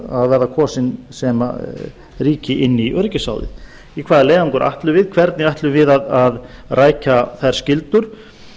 að verða kosin sem ríki in í öryggisráðið í hvaða leiðangur ætlum við hvernig ætlum við að rækja þær skyldur